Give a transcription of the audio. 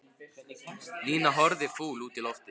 Nína horfði fúl út í loftið.